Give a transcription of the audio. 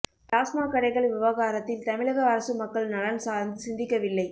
டாஸ்மாக் கடைகள் விவகாரத்தில் தமிழக அரசு மக்கள் நலன் சார்ந்து சிந்திக்கவில்லை